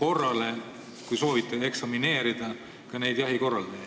korrale – kui soovite, siis kuidas eksamineerida – ka jahikorraldajaid.